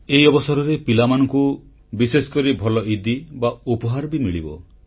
ଏହି ଅବସରରେ ପିଲାମାନଙ୍କୁ ବିଶେଷକରି ଭଲ ଇଦି ବା ଉପହାର ବି ମିଳିବ